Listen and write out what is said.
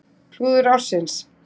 Klúður ársins?